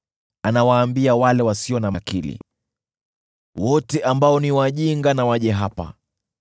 Anawaambia wale wasio na akili, “Wote ambao ni wajinga na waje hapa!